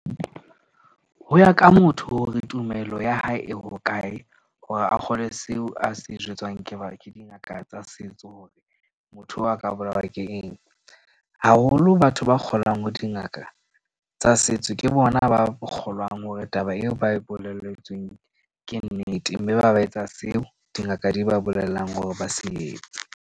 Ho ya ka motho hore tumelo ya hae e hokae hore a kgolwe seo a se jwetswang ke ke dingaka tsa setso, hore motho oo a ka bolawa ke eng. Haholo batho ba kgolang ho dingaka tsa setso ke bona ba kgolwang hore taba eo ba e boleletsweng ke nnete. Mme ba ba etsa seo dingaka di ba bolellang hore ba se etse.